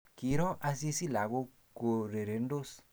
Kiiro Asisi lagok kourerendos